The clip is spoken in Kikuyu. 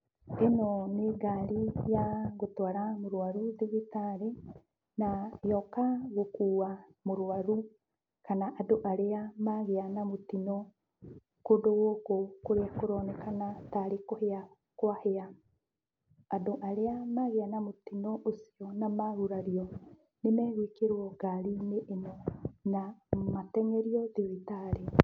Ĩno nĩ ngari ya gũtwara mũrwaru thibitarĩ, na yoka gũkua mũrwaru kana andũ arĩa magĩa na mũtino kũndũ gũkũ kũronekana tarĩ kũhĩa kwahĩa. Andũ arĩa magĩa na mũtino ũcio na magurario, nĩmegwĩkĩrwo ngari-inĩ ĩno na mateng'erio thibitarĩ.